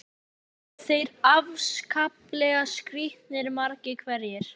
Og þeir eru afskaplega skrítnir, margir hverjir.